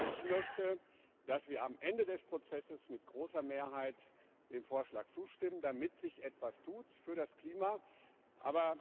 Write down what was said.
Ich möchte, dass wir am Ende des Prozesses mit großer Mehrheit dem Vorschlag zustimmen, damit sich für das Klima etwas tut.